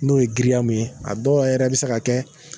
N'o ye girinya min ye a dɔw yɛrɛ a bi se ka kɛ.